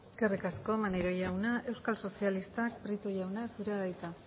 eskerrik asko maneiro jauna euskal sozialistak prieto jauna zurea da hitza